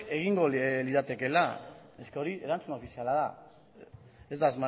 egingo liratekeela hori erantzun ofiziala da ez da